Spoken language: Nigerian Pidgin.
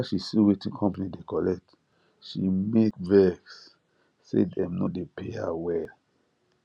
after she see wetin company dey collect she make vex say dem no dey pay her well